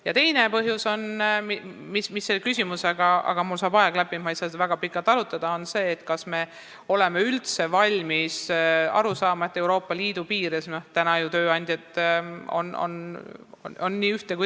Ja teine küsimus on – mul saab aeg läbi ja ma ei saa siin väga pikalt arutada –, kas me oleme üldse valmis aru saama, et Euroopa Liidu piires on ju tööandjad nii siin kui seal.